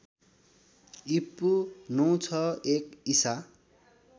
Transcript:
ईपू ९६१ ईसा